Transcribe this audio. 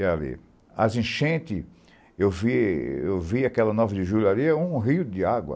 E ali, as enchentes, eu vi aquela nove de julho ali, um rio de água.